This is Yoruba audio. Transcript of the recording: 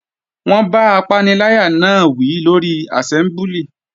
Wọ́n bá apaniláyà náà wí lórí àsẹ́mbúlì